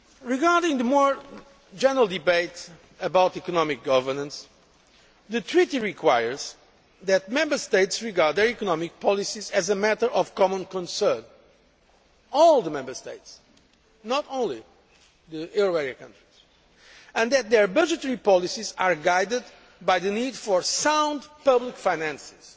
system. Regarding the more general debate about economic governance, the Treaty requires that Member States regard their economic policies as a matter of common concern all the Member States, not only the euro area countries and that their budgetary policies are guided by the need for sound public finances.